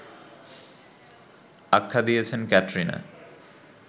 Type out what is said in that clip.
আখ্যা দিয়েছেন ক্যাটরিনা